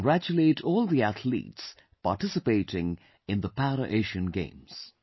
I congratulate all the athletes participating in the Para Asian Games